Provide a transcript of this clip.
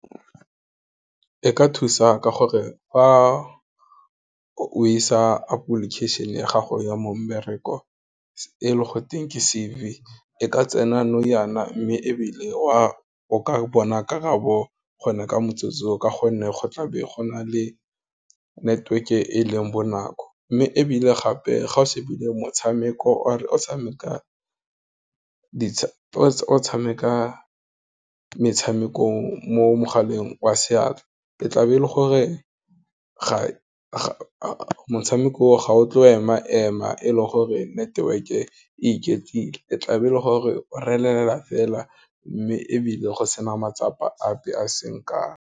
E ka thusa ka gore fa o isa application ya gago ya mo mebereko e le go teng ke C_V e ka tsena nou yana mme ebile o ka bona karabo gona ka motsotso ka gonne go tla be go na le network-e e leng bonako, mme ebile gape ga o shebile motshameko or tshameka metshameko mo mogaleng wa seatla, e tla be e le gore motshameko ga o tle o ema-ema e le gore network-e e iketlile, e tla be e le gore o relela fela, mme ebile go sena matsapa ape a seng kang.